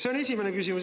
See on esimene küsimus.